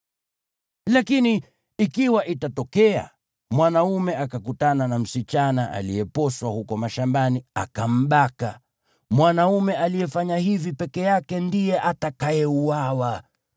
Lakini ikiwa itatokea mwanaume akakutana na msichana aliyeposwa huko mashambani, akambaka, mwanaume aliyefanya hivi peke yake ndiye atakayeuawa.